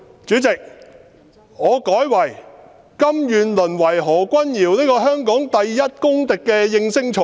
主席，我改為說他們甘願淪為何君堯議員這個香港第一公敵的應聲蟲。